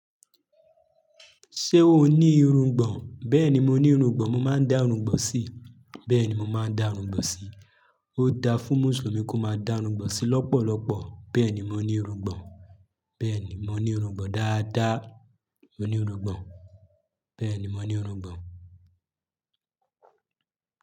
Ṣé o ní irungbọ̀n? Bẹ́ẹ̀ni, mo ní irungbọ̀n, mo máa ń dá irungbọ̀n sí. Bẹ́ẹ̀ni, mo máa ń dá irungbọ̀n sí. Ó dá fún mùsùlùmí kó máa dá irungbọ̀n sí lọ́pọ̀lọpọ̀. Bẹ́ẹ̀ni, mo ní irungbọ̀n. Bẹ́ẹ̀ni, mo ní irungbọ̀n dáadáa. Mo ní irungbọ̀n. Bẹ́ẹ̀ni, mo ní irungbọ̀n.